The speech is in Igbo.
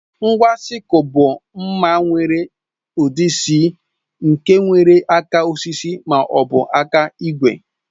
Ngwa sịkul bụ mma nwere ụdị C nke nwere aka osisi ma ọ bụ aka igwe